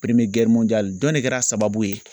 dɔn de kɛra sababu ye